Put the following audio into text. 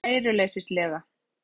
Stefán yppti öxlum kæruleysislega.